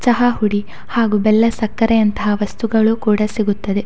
ಚಹಾಹುಡಿ ಹಾಗು ಬೆಲ್ಲ ಸಕ್ಕರೆಯಂತಹ ವಸ್ತುಗಳೂ ಕೂಡ ಸಿಗುತ್ತದೆ.